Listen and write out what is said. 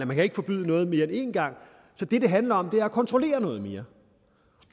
man ikke forbyde noget mere end een gang så det det handler om er at kontrollere noget mere